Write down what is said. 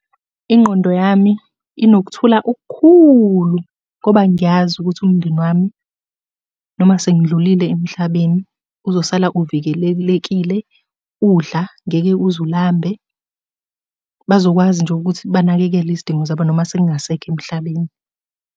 Ingqondo yami inokuthula okukhulu ngoba ngiyazi ukuthi umndeni wami noma sengidlulile emhlabeni uzosala uvikelelekile, udla, ngeke uze ulambe. Bazokwazi nje ukuthi banakekele izidingo zabo noma sengingasekho emhlabeni.